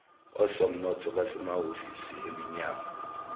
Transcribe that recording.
osomnotho basemahhovisi eminyango